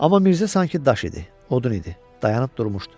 Amma Mirzə sanki daş idi, odun idi, dayanıb durmuşdu.